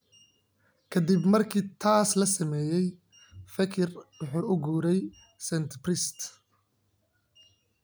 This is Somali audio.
Ka dib markii taas la sameeyay, Fekir wuxuu u guuray Saint-Priest.